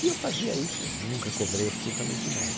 E eu fazia isso, nunca cobrei absolutamente nada.